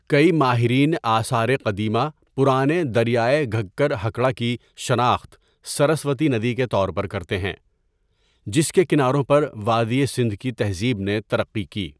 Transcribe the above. کئی ماہرین آثار قدیمہ پرانے دریائے گھگر ہکڑہ کی شناخت سرسوتی ندی کے طور پر کرتے ہیں، جس کے کناروں پر وادی سندھ کی تہذیب نے ترقی کی.